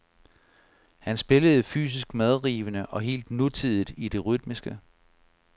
Han spillede fysisk medrivende og helt nutidigt i det rytmiske.